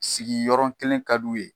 Sigi yɔrɔ kelen ka bi u ye.